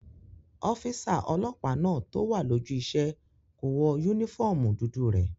Ọ́físà ọlọ́pàá náà tó wà lójú iṣẹ́ kò wọ yúnífọ́ọ̀mù dúdú rẹ̀